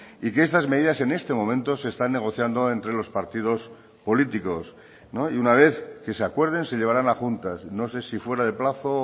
y que estas medidas en este momento se están negociando entre los partidos políticos y una vez que se acuerden se llevaran a juntas no sé si fuera de plazo o